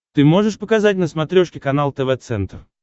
ты можешь показать на смотрешке канал тв центр